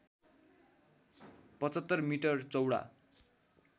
७५ metre चौडा